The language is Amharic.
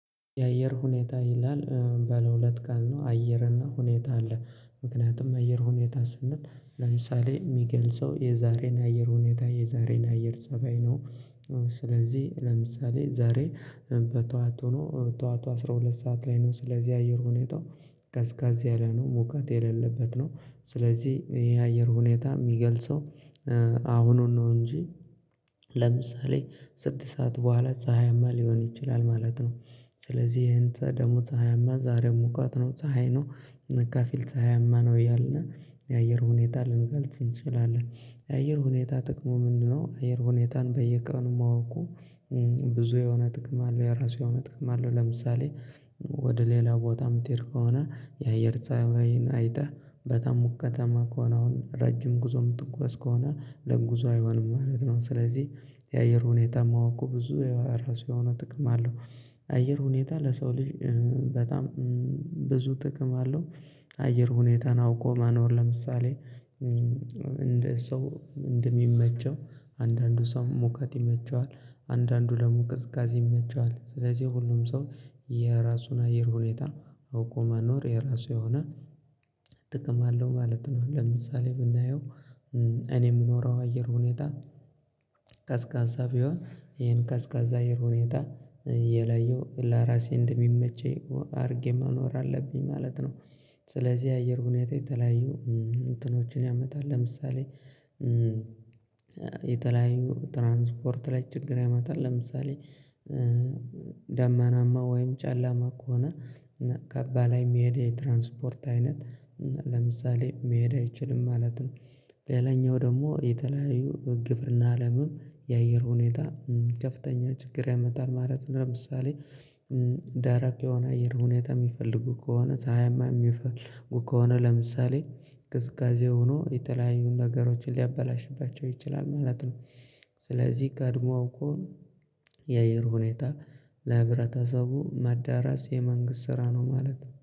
የአየር ሁኔታ ይላል ባለሁለት ቃል ነው አየር እና ሁኔታ አለ ምክንያቱም አየር ሁኔታ ስንል ለምሳሌ ሚገልጸው የዛሬን አየር ሁኔታ የዛሬን አየር ፀባይ ነው። ስለዚህ ለምሳሌ ዛሬ በጠዋቱኑ ጠዋቱ አስራ ሁለት ሰዓት ላይ ነው ስለዚህ አየር ሁኔታ ቀዝቀዝ ያለ ነው ሙቀት የሌለበት ነው። ስለዚህ ይሄ አየር ሁኔታ ሚገልጸው አሁኑን ነው እንጂ ለምሳሌ ስድስት ሰዓት በኋላ ፀሀያማ ሊሆን ይችላል ማለት ነው። ስለዚህ ይሄን ተ ደግሞ ፀሀያማ ዛሬ ሙቀት ነው ፀሀይ ነው ከፊል ፀሀያማ ነው እያልን የአየር ሁኔታ ልንገልጽ እንችላለን። የአየር ሁኔታ ጥቅሙ ምንድነው? አየር ሁኔታን በየቀኑ ማወቁ ብዙ የሆነ ጥቅም አለው የራሱ የሆነ ጥቅም አለው። ለምሳሌ ወደ ሌላ ቦታ ምትሄድ ከሆነ የአየር ጸባይን አይተህ በጣም ሞቃታማ ከሆነ አሁን ረጅም ጉዞ ምትጓዝ ከሆነ ለጉዞ አይሆንም ማለት ነው። ስለዚህ የአየር ሁኔታ ማወቁ ብዙ የራሱ የሆነ ጥቅም አለው። አየር ሁኔታ ለሰው ልጅ በጣም ብዙ ጥቅም አለው። አየር ሁኔታን አውቆ ማኖር ለምሳሌ እንደ ሰው እንደሚመቸው አንዳንዱ ሰው ሙቀት ይመቸዋል አንዳንዱ ደግሞ ቅዝቃዜ ይመቸዋል ስለዚህ ሁሉም ሰው የራሱን አየር ሁኔታ አውቆ መኖር የራሱ የሆነ ጥቅም አለው ማለት ነው። ለምሳሌ ብናየው እኔ ምኖረው አየር ሁኔታ ቀዝቃዛ ቢሆን ይሄን ቀዝቃዛ አየር ሁኔታ የለየው ለራሴ እንደሚመቸኝ አድርጌ መኖር አለብኝ ማለት ነው። ስለዚህ የአየር ሁኔታ የተለያዩ እንትኖችን ያመጣል ለምሳሌ የተለያዩ ትራንስፖርት ላይ ችግር ያመጣል። ለምሳሌ ዳመናማ ወይም ጨለማ ከሆነ እና ካባ ላይ ሚሄድ የትራንስፖርት አይነት ለምሳሌ መሄድ አይችልም ማለት ነው። ሌላኛው ደግሞ የተለያዩ በግብርና አለምም የአየር ሁኔታ ከፍተኛ ችግር ያመጣል ማለት ነው። ለምሳሌ ደረቅ የሆነ አየር ሁኔታ ሚፈልጉ ከሆነ ፀሀያማ እሚፈልጉ ከሆነ ለምሳሌ ቅዝቃዜ ሆኖ የተለያዩ ነገሮችን ሊያበላሽባቸው ይችላል ማለት ነው። ስለዚህ ቀድሞ አውቆ የአየር ሁኔታ ለህብረተሰቡ ማዳረስ የመንግስት ስራ ነው ማለት ነው